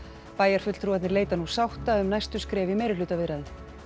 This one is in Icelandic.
bæjarfulltrúarnir leita nú sáttar um næstu skref í meirihlutaviðræðum